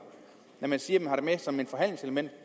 når man siger man har det med som et forhandlingselement